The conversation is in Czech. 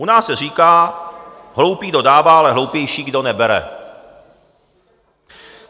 U nás se říká: Hloupý, kdo dává, ale hloupější, kdo nebere.